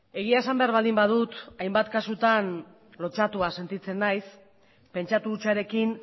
egia esan behar baldin badut hainbat kasutan lotsatua sentitzen naiz pentsatu hutsarekin